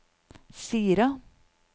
Sira